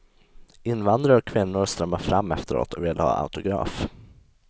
Invandrare och kvinnor strömmar fram efteråt och vill ha autograf.